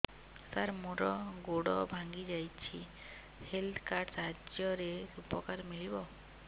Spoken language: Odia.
ସାର ମୋର ଗୋଡ଼ ଭାଙ୍ଗି ଯାଇଛି ହେଲ୍ଥ କାର୍ଡ ସାହାଯ୍ୟରେ ଉପକାର ମିଳିବ